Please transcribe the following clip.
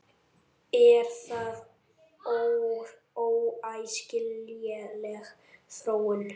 Er það óæskileg þróun?